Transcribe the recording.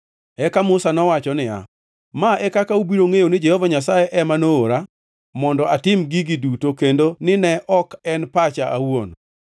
Eka Musa nowacho niya, “Ma e kaka ubiro ngʼeyo ni Jehova Nyasaye ema noora mondo atim gigi duto kendo ni ne ok en pacha awuon: